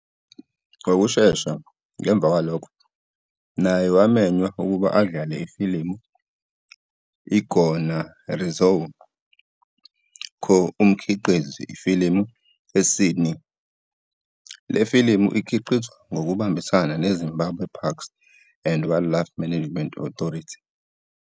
Ngokushesha ngemva kwalokho, naye wamenywa ukuba adlale ifilimu "Gonarezhou" co-umkhiqizi ifilimu, eSydney Taivavashe. Le filimu ikhiqizwa ngokubambisana neZimbabwe Parks and Wildlife Management Authority.